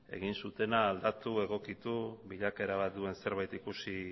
egin zutena aldatu egokitu bilakaera duen zerbait ikusi